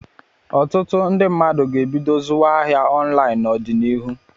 Ọtụtụ ndị mmadụ ga-ebido zuwa ahịa ọnlaịn n'ọdịnihu.